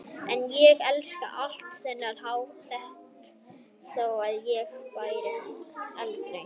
En ég elskaði alltaf þennan hatt þótt ég bæri hann aldrei.